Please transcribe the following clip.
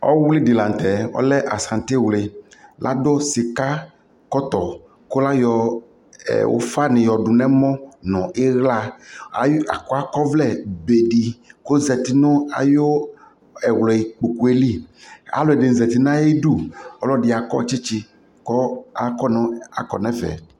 ɔwli di lantɛ ɔlɛ asante wli, ladʋ sika kɔtɔ kʋ ayɔ ʋƒa ni yɔdʋ nʋ ɛmɔ nʋ ala, akɔ ɔvlɛ bɛ di kʋ ɔzati nʋ ayɔ ɛwli kpɔkʋɛ li, alʋɛdini zati nʋ ayidʋ, ɔlɔdi akɔ kyikyi kʋ akɔ nʋ ɛƒɛ